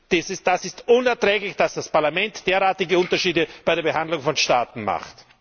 Es ist unerträglich, dass das Parlament derartige Unterschiede bei der Behandlung von Staaten macht!